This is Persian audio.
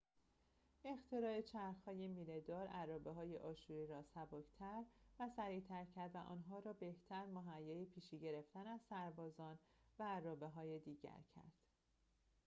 اختراع چرخ های میله‌دار ارابه های آشوری را سبک تر و سریعتر کرد و آنها را بهتر مهیای پیشی گرفتن از سربازان و ارابه‌های دیگر کرد